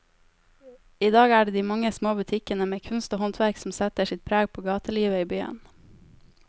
I dag er det de mange små butikkene med kunst og håndverk som setter sitt preg på gatelivet i byen.